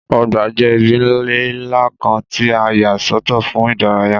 Ọgbà jẹ́ ibi ilẹ̀ ńlá kan tí a yà sọ́tọ̀ fún ìdárayá